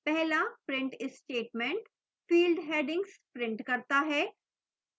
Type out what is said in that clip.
पहला print statement field headings print करता है